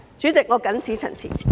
主席，我謹此陳辭。